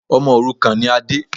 Ọmọ òrukàn ni Ade.